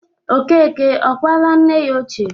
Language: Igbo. Okeke ọ kwala nna ya ochie?